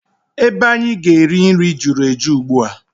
Ebe anyị ga-eri nri juru eju ugbua.